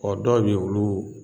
Ɔ dɔw bɛ yen olu